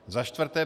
Za čtvrté.